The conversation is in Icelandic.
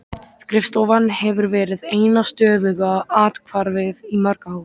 Skrifstofan hefur verið eina stöðuga athvarfið í mörg ár.